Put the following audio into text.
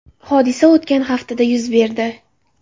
Hodisa o‘tgan haftada yuz berdi.